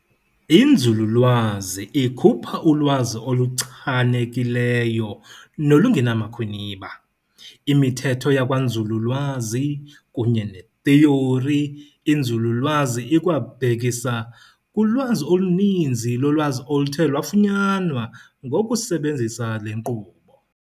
Inzululwazi ikhupha ulwazi oluchanekileyo nolungenamakhwiniba, imithetho yakwanzululwazi, kunye netheori 'inzululwazi' ikwabhekisa kulwazi oluninzi yolwazi oluthe lwafunyanwa ngokusebenzisa le nkqubo.